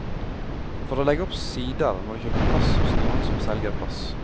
For å legge opp sider, må du kjøpe plass hos noen som selger plass.